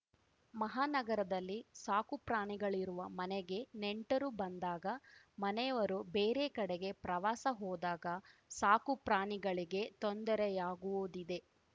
ಮಹಾನಗರದಲ್ಲಿ ಸಾಕುಪ್ರಾಣಿಗಳಿರುವ ಮನೆಗೆ ನೆಂಟರು ಬಂದಾಗ ಮನೆಯವರು ಬೇರೆ ಕಡೆಗೆ ಪ್ರವಾಸ ಹೋದಾಗ ಸಾಕುಪ್ರಾಣಿಗಳಿಗೆ ತೊಂದರೆಯಾಗುವುದಿದೆ